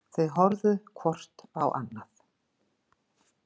Þau horfðu hvort á annað.